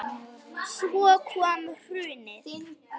Svo kom hrunið.